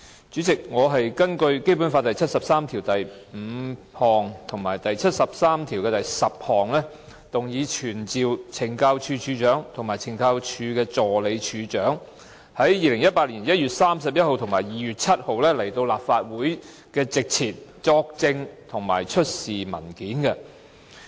主席，我是根據《基本法》第七十三條第五項及第七十三條第十項，動議傳召懲教署署長及懲教署助理署長於2018年1月31日及2月7日到立法會席前作證及出示文件。